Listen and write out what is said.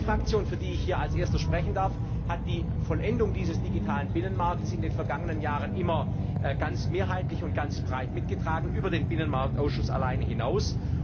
Die EVP Fraktion, für die ich hier als Erster sprechen darf, hat die Vollendung dieses digitalen Binnenmarktes in den vergangenen Jahren immer ganz mehrheitlich und ganz breit mitgetragen über den Binnenmarktausschuss alleine hinaus.